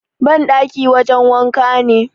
bandaki wajen wanka ne